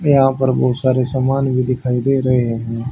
यहां पे बहुत सारे सामान भी दिखाई दे रहे हैं।